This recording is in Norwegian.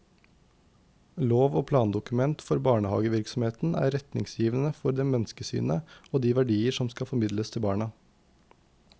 Lov og plandokument for barnehagevirksomheten er retningsgivende for det menneskesynet og de verdier som skal formidles til barna.